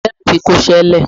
Kẹ̀kẹ́ mi ti kọṣẹ́ lẹ̀.